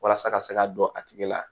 Walasa ka se ka don a tigi la